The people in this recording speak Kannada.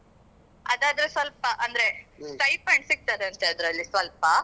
ಅದಾದ್ರೆ ಸ್ವಲ್ಪ ಅಂದ್ರೆ ಸ್ವಲ್ಪ stipend ಸಿಕ್ತದೆ ಅದ್ರಲ್ಲಿ ಸ್ವಲ್ಪ